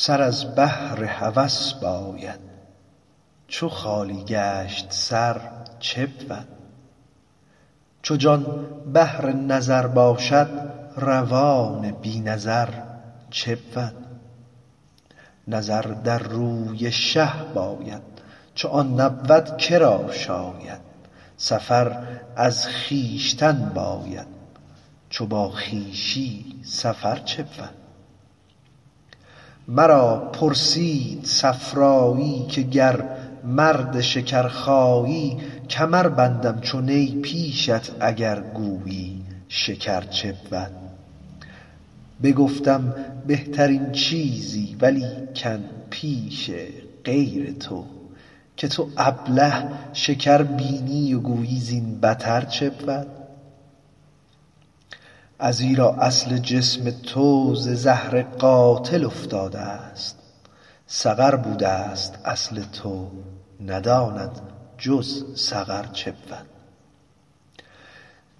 سر از بهر هوس باید چو خالی گشت سر چه بود چو جان بهر نظر باشد روان بی نظر چه بود نظر در روی شه باید چو آن نبود چه را شاید سفر از خویشتن باید چو با خویشی سفر چه بود مرا پرسید صفرایی که گر مرد شکرخایی کمر بندم چو نی پیشت اگر گویی شکر چه بود بگفتم بهترین چیزی ولیکن پیش غیر تو که تو ابله شکر بینی و گویی زین بتر چه بود ازیرا اصل جسم تو ز زهر قاتل افتادست سقر بودست اصل تو نداند جز سقر چه بود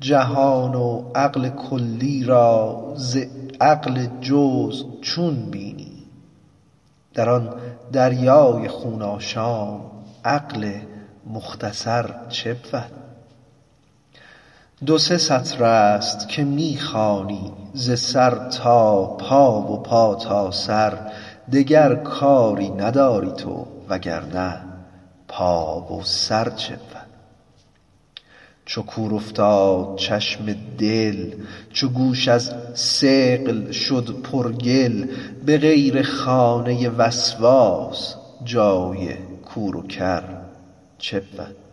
جهان و عقل کلی را ز عقل جزو چون بینی در آن دریای خون آشام عقل مختصر چه بود دو سه سطرست که می خوانی ز سر تا پا و پا تا سر دگر کاری نداری تو وگر نه پا و سر چه بود چو کور افتاد چشم دل چو گوش از ثقل شد پرگل به غیر خانه وسواس جای کور و کر چه بود